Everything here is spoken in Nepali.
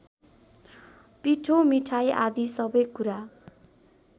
पिठो मिठाई आदि सबै कुरा